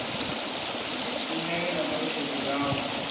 ni ṋee na ṱhalutshedzo yawo